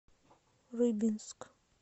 рыбинск